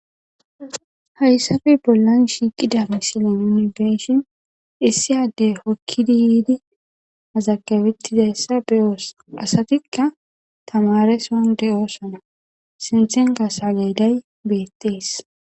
Hayssape bollan shiiqida mislee nuuni be7ishin issi addee hokkidiidi mazagabeththizayssa be7oos; asathikka thamaareson de7oosona; sinththenkka seleeday beeththees.